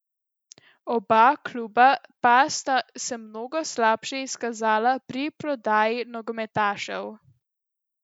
Oba kluba pa sta se mnogo slabše izkazala pri prodaji nogometašev.